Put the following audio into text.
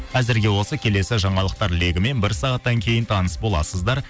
әзірге осы келесі жаңалықтар легімен бір сағаттан кейін таныс боласыздар